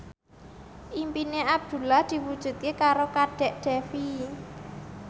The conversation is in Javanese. impine Abdullah diwujudke karo Kadek Devi